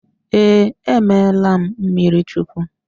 Ee, emeela m mmirichukwu.